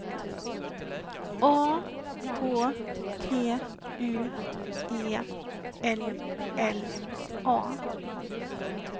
A K T U E L L A